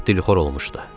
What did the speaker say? Lap dilxor olmuşdu.